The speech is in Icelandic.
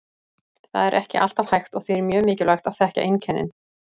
Það er ekki alltaf hægt og því er mjög mikilvægt að þekkja einkennin.